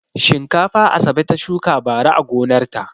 Shinkafa Asabe ta shuka bara a gonarta.